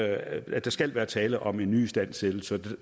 at der skal være tale om en nyistandsættelse